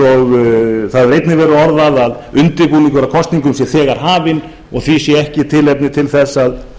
hefur einnig verið orðað að undirbúningur að kosningum sé þegar hafinn og því sé ekki tækifæri til þess að